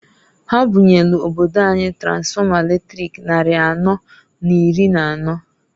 Ha bunyelu obodo anyị tansfọma latrik nnarị anọọ n'iri n'anọọ.